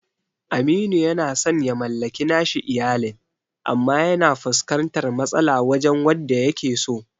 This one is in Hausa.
Aminu yana san ya mallaki nashi iyalin, amma yana fuskantar matsala wajen wadda yakeso.